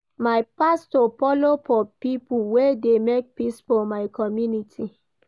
My pastor folo for pipo wey dey make peace for my community.